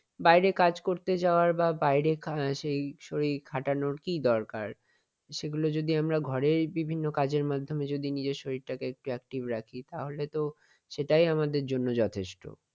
বাইরে কাজ করতে যাওয়া বা বাইরে সেই শরীর খাটানোর কি দরকার। সেগুলো যদি আমরা ঘরের বিভিন্ন কাজের মাধ্যমে যদি নিজের শরীরটাকে একটু active রাখি তাহলে তো এটাই আমাদের জন্য যথেষ্ট।